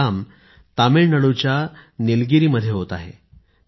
हे काम तामिळनाडूच्या निलगिरी मध्ये होत आहे